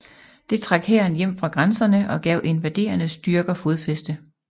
Det trak hæren hjem fra grænserne og gav invaderende styrker fodfæste